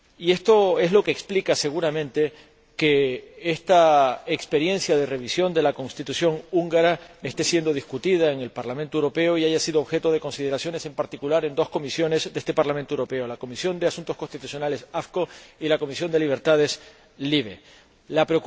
Esto es lo que explica, seguramente, que esta experiencia de revisión de la Constitución húngara esté siendo discutida en el Parlamento Europeo y haya sido objeto de consideraciones, en particular en dos comisiones de este Parlamento Europeo la Comisión de Asuntos Constitucionales y la Comisión de Libertades La